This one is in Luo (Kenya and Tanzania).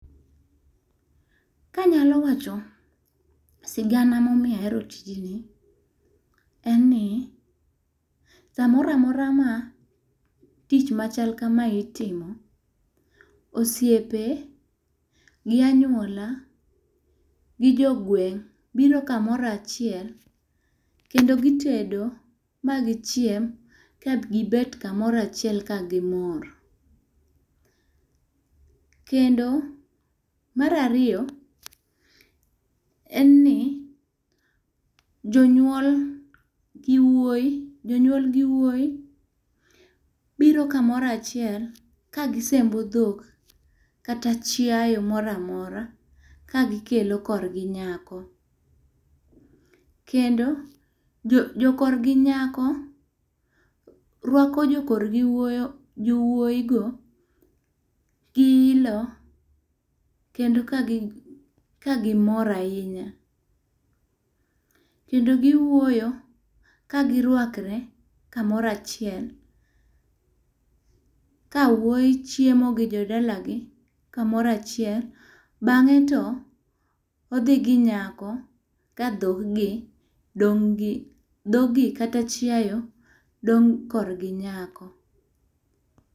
Ka anyalo wacho sigana ma omiyo ahero tijni, en ni, saa moro amora ma tich machal kamae itimo, osiepe, gi anywola, gi jo gweng' biro kamoro achiel. Kendo gitendo ma gichiem, ka gibet kamoro achiel ka gimor. Kendo mar ariyo, en ni, jonyuol gi wuoyi, jonyuol gi wuoyi, biro kamoro achiel, ka gisembo dhok kata chiayo moramora, ka gikelo korgi nyako. Kendo jo jokorgi nyako, rwako jokorgi wuoygo gi ilo, kendo kagi, kagimor ahinya. Kendo giwuoyo, kagirwakre kamoro achiel. Kawuoy chiemo gi jodalagi kamoro achiel, bangé to odhi gi nyako, kadhoggi dong'gi, dhoggi kata chiayo dong korgi nyako.